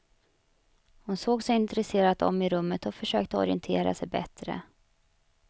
Hon såg sig intresserat om i rummet och försökte orientera sig bättre.